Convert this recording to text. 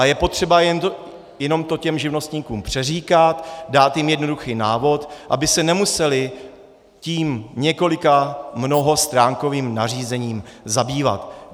A je potřeba jenom to těm živnostníků přeříkat, dát jim jednoduchý návod, aby se nemuseli tím několika mnohostránkovým nařízením zabývat.